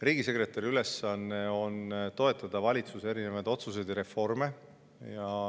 Riigisekretäri ülesanne on toetada valitsuse otsuseid ja reforme.